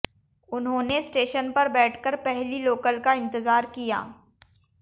उन्होंने स्टेशन पर बैठकर पहली लोकल का इंतजार किया